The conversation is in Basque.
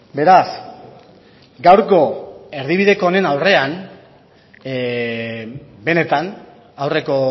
beraz gaurko erdibideko honen aurrean benetan aurreko